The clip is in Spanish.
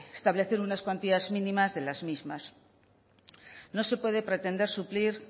establecer unas cuantías mínimas de las mismas no se puede pretender suplir